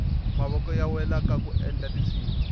mavoko ya wela kaku endla tinsimu